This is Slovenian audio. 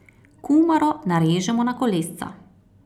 Kumaro narežemo na kolesca.